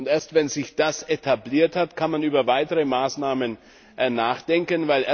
Erst, wenn sich das etabliert hat, kann man über weitere Maßnahmen nachdenken.